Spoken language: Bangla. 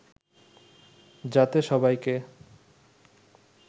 যাতে সবাইকে